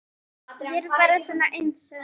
Ég er bara svona einsog.